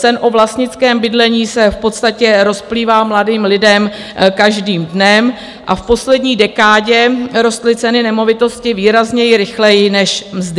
Sen o vlastnickém bydlení se v podstatě rozplývá mladým lidem každým dnem a v poslední dekádě rostly ceny nemovitostí výrazněji rychleji než mzdy.